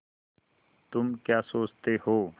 तुम क्या सोचते हो